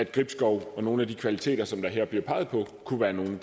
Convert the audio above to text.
gribskov og nogle af de kvaliteter som der her bliver peget på kunne være noget af